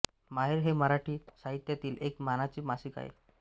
माहेर हे मराठी साहित्यातील एक मानाचे मासिक आहे